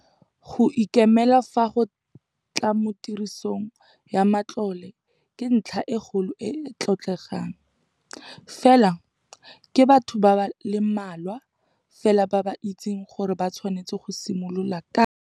Go ikemela fa go tla mo tirisong ya matlole ke ntlha e kgolo e e tlotlegang, fela ke batho ba le mmalwa fela ba ba itseng gore ba tshwanetse go simolola kae.